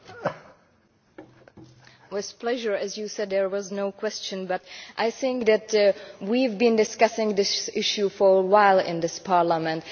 Mr President, with pleasure as you said, there was no question. But I think that we have been discussing this issue for a while in this Parliament.